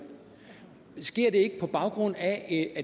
sker det ikke på baggrund af at